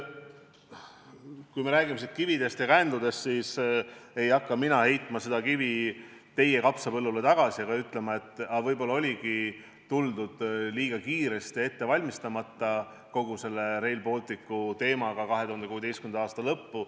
Kui me räägime siin kividest ja kändudest, siis ei hakka mina heitma seda kivi teie kapsapõllule tagasi ega ütlema, et aga võib-olla oligi tuldud liiga kiiresti ja ette valmistamata kogu selle Rail Balticu teemaga 2016. aasta lõppu.